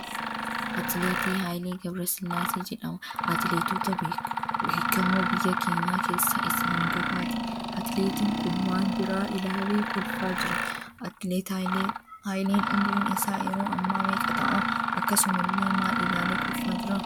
Atileetii Haayilee Gebre Sillaasee jedhama. Atileetota beekamoo biyya keenyaa keessa isa hangafaati. Atileetiin kun waan biraa ilaalee kolfaa jira. Atileet Haayileen umriin isaa yeroo hammaa meeqa ta'aa?, Akkaasumallee maal ilaalee kolfaa jiraa?